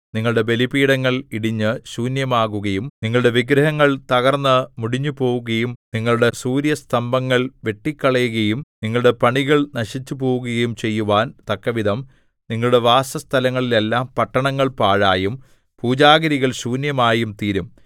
നിങ്ങളുടെ ബലിപീഠങ്ങൾ ഇടിഞ്ഞ് ശൂന്യമാകുകയും നിങ്ങളുടെ വിഗ്രഹങ്ങൾ തകർന്നു മുടിഞ്ഞുപോകുകയും നിങ്ങളുടെ സൂര്യസ്തംഭങ്ങൾ വെട്ടിക്കളയുകയും നിങ്ങളുടെ പണികൾ നശിച്ചുപോകുകയും ചെയ്യുവാൻ തക്കവിധം നിങ്ങളുടെ വാസസ്ഥലങ്ങളിലെല്ലാം പട്ടണങ്ങൾ പാഴായും പൂജാഗിരികൾ ശൂന്യമായും തീരും